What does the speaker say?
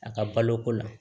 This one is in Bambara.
A ka baloko la